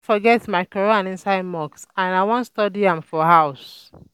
I um don forget my quran inside mosque and I wan study am um for house